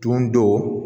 Dundon